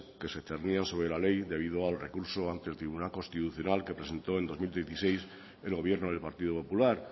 que se cernían sobre la ley debido al recurso ante el tribunal constitucional que presentó en dos mil dieciséis el gobierno del partido popular